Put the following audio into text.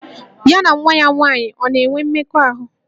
Ya na nwa ya nwaanyị ọ̀ na-enwe mmekọahụ?